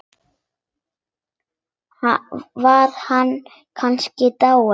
Var hann kannski dáinn?